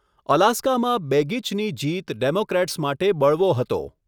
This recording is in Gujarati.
અલાસ્કામાં બેગિચની જીત ડેમોક્રેટ્સ માટે બળવો હતો.